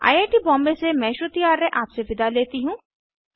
I I T Bombay से मैं श्रुति आर्य आपसे विदा लेती हूँ